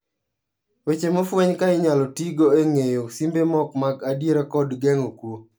Weche mofweny ka inyalo tigo e ng'eyo simbe mok mag adiera kod ngeng'o kwo.